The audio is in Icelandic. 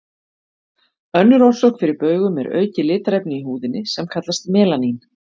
Önnur orsök fyrir baugum er aukið litarefni í húðinni, sem kallast melanín.